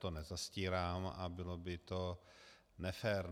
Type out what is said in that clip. To nezastírám a bylo by to nefér.